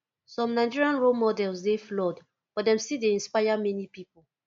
some nigerian role models dey flawed but dem still dey inspire many pipo